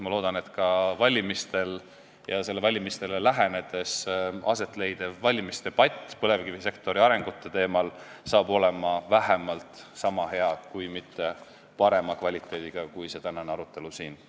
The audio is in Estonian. Ma loodan, et valimiste lähenedes aset leidev valimisdebatt põlevkivisektori arengute teemal on vähemalt niisama hea, kui mitte parema kvaliteediga kui tänane arutelu siin.